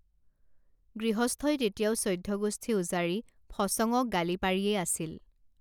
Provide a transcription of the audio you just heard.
গৃহস্থই তেতিয়াও চৈধ্য গোষ্ঠী উজাৰি ফচঙক গালি পাৰিয়েই আছিল